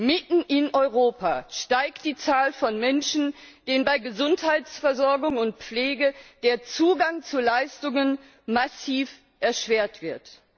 Mitten in Europa steigt die Zahl von Menschen, denen bei Gesundheitsversorgung und Pflege der Zugang zu Leistungen massiv erschwert wird.